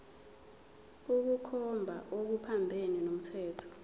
ukukhomba okuphambene nomthetho